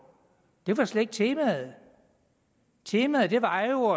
det var slet ikke temaet temaet var jo